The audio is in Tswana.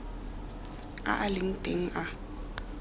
a a leng teng a